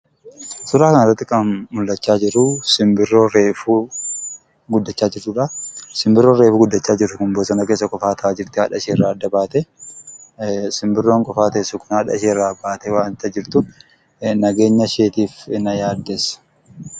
Suuraa kana irratti kan argamaa jiru Simbira reefa guddachaa jiruu dha. Simbirri kunis qofa bosona keessa haadha irraa adda ba'uun kan jiraachaa jirtuu dha. Simbirri kunis haadha ishee irraa adda baatee waan jir tuuf nageenya isheef na yaaddessa.